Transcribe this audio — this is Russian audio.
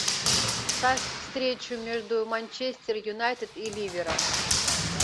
ставь встречу между манчестер юнайтед и ливером